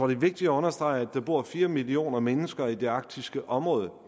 er vigtigt at understrege at der bor fire millioner mennesker i det arktiske område